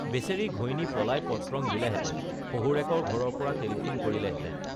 বেচেৰী ঘৈণী পলাই পত্ৰং দিলেহেঁতেন শহুৰেকৰ ঘৰৰ পৰা টেলিফোন কৰিলেহেঁতেন